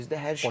Bizdə hər şey.